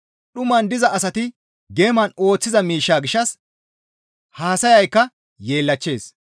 Dhuman diza asati geeman ooththiza miishsha gishshas haasayaykka yeellachchees.